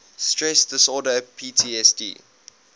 stress disorder ptsd